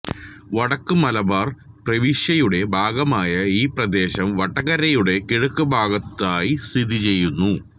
വടക്ക് മലബാർ പ്രവിശ്യയുടെ ഭാഗമായ ഈ പ്രദേശം വടകരയുടെ കിഴക്കുഭാഗത്തായി സ്ഥിതി ചെയ്യുന്നു